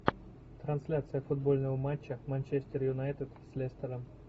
трансляция футбольного матча манчестер юнайтед с лестером